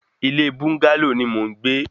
Ilé búńgálò ni mò ń gbé